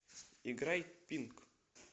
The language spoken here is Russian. играй пинк